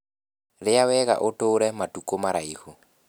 Rĩa wega ũtũre matukũ maraihu